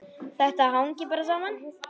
Þetta hangir bara saman.